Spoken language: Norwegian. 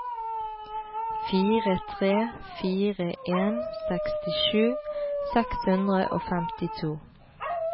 fire tre fire en sekstisju seks hundre og femtito